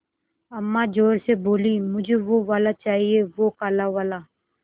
अम्मा ज़ोर से बोलीं मुझे वो वाला चाहिए वो काला वाला